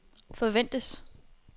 forventes